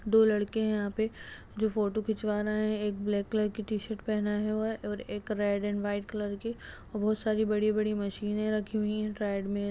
दो लड़के है यहाँ पे जो फोटो खिचवा रहे है एक ब्लैक कलर की टीशर्ट पहना हुआ है और एक रेड एण्ड व्हाइट कलर की और बहुत सारी बड़ी-बड़ी मशीने रखी हुई हैं। ट्रेड मे--